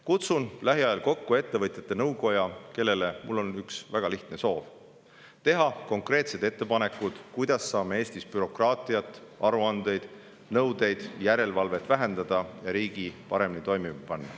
Kutsun lähiajal kokku ettevõtjate nõukoja, kellele mul on üks väga lihtne soov: teha konkreetsed ettepanekud, kuidas saame Eestis bürokraatiat, aruandeid, nõudeid ja järelevalvet vähendada ning riigi paremini toimima panna.